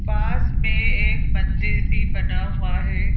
पास में एक मंदिर भी बना हुआ है।